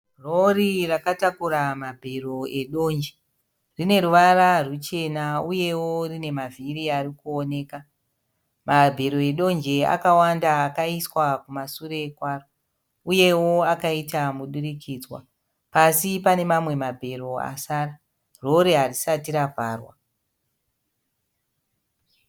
Rori rakatakura mabhero edonje. Rine ruvara ruchena uyewo rune mavhiri arikuoneka. Mabhero edonje akawanda akaiswa kumasure kwaro, uyewo akaita mudurikidzwa. Pasi pane mamwe mabhero asara. Rori harisati ravharwa.